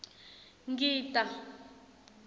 ngita